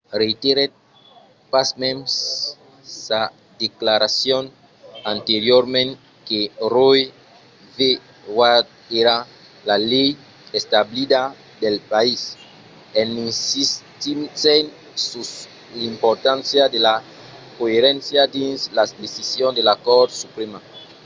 reiterèt pasmens sa declaracion anteriorament que roe v. wade èra la lei establida del país en insistissent sus l’importància de la coeréncia dins las decisions de la cort suprèma